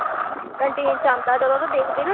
Canteen ਚ ਅੰਦਾ ਜਦੋ ਤੇ ਦੇਖਦੀ।